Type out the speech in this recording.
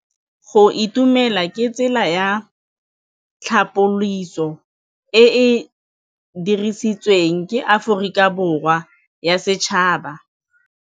Go itumela ke tsela ya tlhapolisô e e dirisitsweng ke Aforika Borwa ya Bosetšhaba.